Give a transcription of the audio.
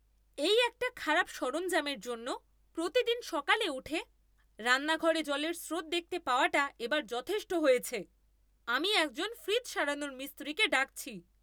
এই একটা খারাপ সরঞ্জামের জন্য প্রতিদিন সকালে উঠে রান্নাঘরে জলের স্রোত দেখতে পাওয়াটা এবার যথেষ্ট হয়েছে! আমি একজন ফ্রিজ সারানোর মিস্ত্রিকে ডাকছি।